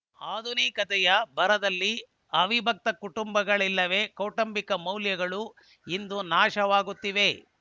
ಆಧುನಿಕತೆಯ ಭರದಲ್ಲಿ ಅವಿಭಕ್ತ ಕುಟುಂಬಗಳಿಲ್ಲದೇ ಕೌಟುಂಬಿಕ ಮೌಲ್ಯಗಳು ಇಂದು ನಾಶವಾಗುತ್ತಿವೆ